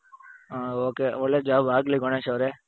ಹ ok ಒಳ್ಳೆ job ಆಗ್ಲಿ ಗಣೇಶ್ ಅವರೇ